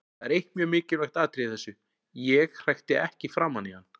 Það er eitt mjög mikilvægt atriði í þessu: Ég hrækti ekki framan í hann.